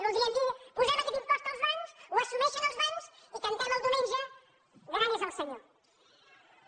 voldria dir posem aquest impost als bancs ho assumeixen els bancs i cantem el diumenge gran és el senyor